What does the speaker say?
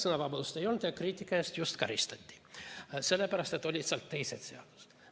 Sõnavabadust ei olnud ja kriitika eest karistati, sellepärast et olid ka teised seadused.